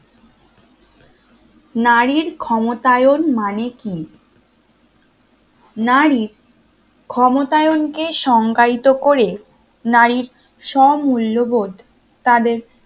নারীর ক্ষমতায়ন মানে কি? নারীর ক্ষমতায়নকে সংজ্ঞায়িত করে নারীর সব মূল্যবোধ